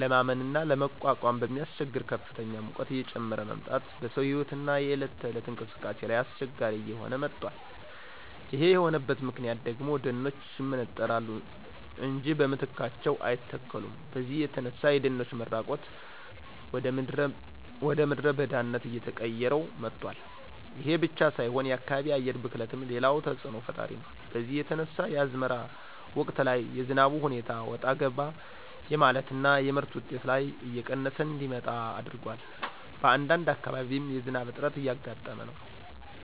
ለማመንና ለመቋቋም በሚያስቸግር ከፍተኛ ሙቀት እየጨመረ መምጣት በሰው ህይወትና የእለት ተእለት እንቅስቃሴ ላይ አስቸጋሪ እየሆነ መጧል ይሄ የሆነበት ምክንያት ደግሞ ደኖች ይመነጠራሉ እንጃ በምትካቸው አይተከሉም በዚህ የተነሳ የደኖች መራቆት ወደምድረ በዳነት አየቀየረው መጧል። ይሄ ብቻ ሳይሆን የከባቢ አየር ብክለትም ሌላው ተጽእኖ ፈጣሪ ነው በዚህ የተነሳ የአዝመራ ወቅት ላይ የዝናቡ ሁኔታ ወጣ ገባ የማለትና የምርት ውጤት ላይ እየቀነሰ እንዲመጣ አድርጓል በአንዳንድ አካባቢም የዝናብ እጥረት እያጋጠመ ነው።